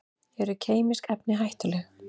Eru kemísk efni hættuleg?